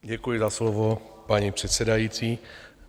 Děkuji za slovo, paní předsedající.